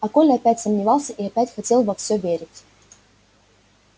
а коля опять сомневался и опять хотел во все верить